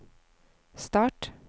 start